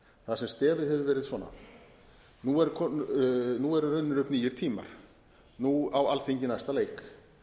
þar sem stefið hefur verið svona nú eru runnir upp nýir tímar nú á alþingi næsta leik